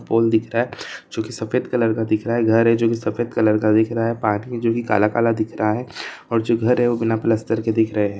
दिखता है जो के सफ़ेद कलर का दिख रहा घर है जो के सफ़ेद कलर का दिख रहा है पास मे जो भी काला काला दिख रहा है और जो घर है वो बिना प्लस्टर के दिख रहा है।